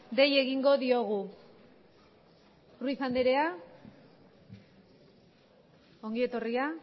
dei egingo diogu ruiz andrea ongi etorria